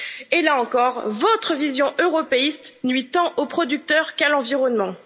Et là encore, votre vision européiste nuit tant aux producteurs qu'à l'environnement.